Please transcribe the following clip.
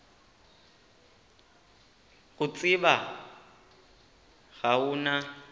go tseba ga o na